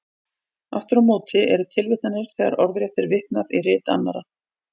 Aftur á móti eru tilvitnanir þegar orðrétt er vitnað í rit annarra.